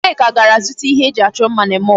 Nneka gara zụta ihe e ji achọ mma na mall.